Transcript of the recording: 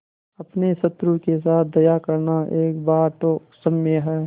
अपने शत्रु के साथ दया करना एक बार तो क्षम्य है